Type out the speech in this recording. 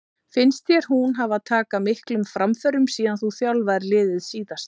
Finnst þér hún hafa taka miklum framförum síðan þú þjálfaðir liðið síðast?